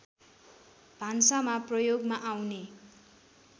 भान्सामा प्रयोगमा आउने